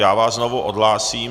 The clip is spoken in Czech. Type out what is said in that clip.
Já vás znovu odhlásím.